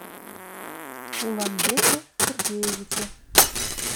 уланбеке сергеевиче